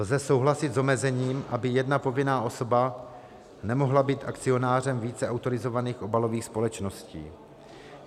Lze souhlasit s omezením, aby jedna povinná osoba nemohla být akcionářem více autorizovaných obalových společností.